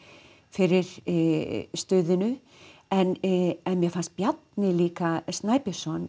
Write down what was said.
fyrir stuðinu en mér fannst Bjarni líka Snæbjörnsson